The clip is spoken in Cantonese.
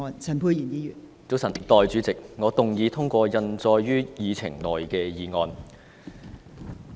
早晨，代理主席，我動議通過印載於議程內的議案。